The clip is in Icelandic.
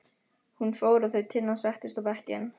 Hún fór og þau Tinna settust á bekkinn.